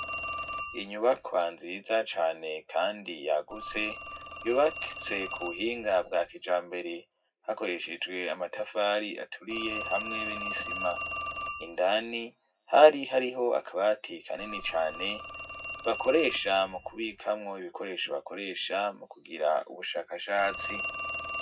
Inyubako nziza cane kandi yagutse yubatse ku buhinga bwa kijambere hakoreshejwe amatafari aturiye hamwe be n'isima indani hari hariho akabati kanini cane bakoresha mu kubikamwo ibikoresho bakoresha mu kugira ubushakashatsi.